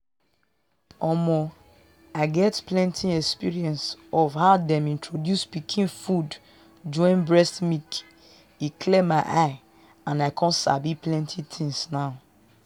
omoh i get plenty experience for how them introduce pikin food join breast milk e clear my eye and i con sabi plenty things now.